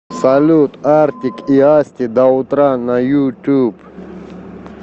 салют артик и асти до утра на ютуб